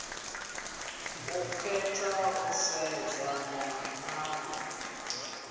yo khetha u sedzana na